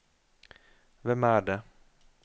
hvem er det